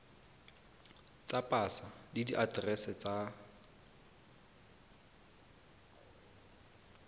tsa pasa le diaterese tsa